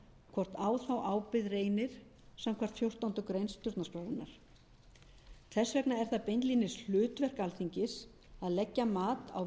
hvort á þá ábyrgð reynir samkvæmt fjórtándu greinar stjórnarskrárinnar þess vegna er það beinlínis hlutverk alþingis að leggja mat á